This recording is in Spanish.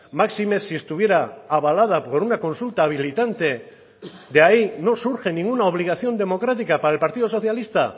máxime si estuviera avalada por una consulta habilitante de ahí no surge ninguna obligación democrática para el partido socialista